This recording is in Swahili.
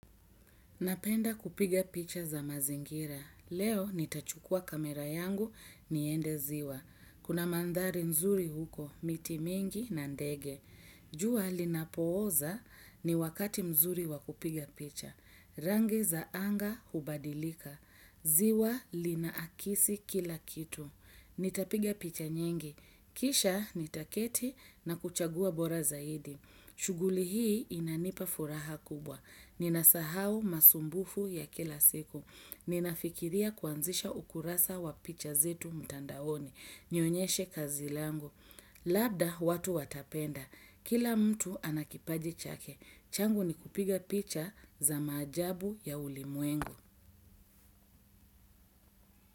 Napenda kupiga picha za mazingira. Leo nitachukua kamera yangu niende ziwa. Kuna mandhari nzuri huko, miti mingi na ndege. Jua linapooza ni wakati mzuri wakupiga picha. Rangi za anga hubadilika. Ziwa lina akisi kila kitu. Nitapiga picha nyingi. Kisha nitaketi na kuchagua bora zaidi. Shughuli hii inanipa furaha kubwa. Ninasahau masumbufu ya kila siku. Ninafikiria kuanzisha ukurasa wa picha zetu mtandaoni. Nionyeshe kazi langu. Labda watu watapenda. Kila mtu anakipaji chake. Changu ni kupiga picha za maajabu ya ulimwengu.